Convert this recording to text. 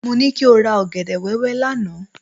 Mo ní kí o ra ọ̀gẹ̀dẹ̀ wẹ́wẹ́ wá lánàá.